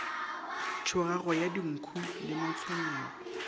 tšhogago ya dinkhu le matshwenyego